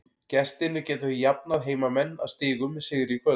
Gestirnir geta því jafnað heimamenn að stigum með sigri í kvöld.